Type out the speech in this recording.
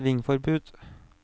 svingforbud